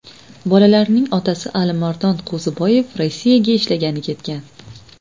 Bolalarning otasi Alimardon Qo‘ziboyev Rossiyaga ishlagani ketgan.